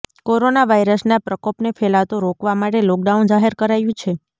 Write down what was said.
corona વાયરસના પ્રકોપને ફેલાતો રોકવા માટે લોકડાઉન જાહેર કરાયું છે